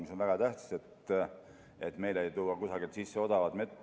See on väga tähtis, et meile kusagilt odavat mett sisse ei toodaks.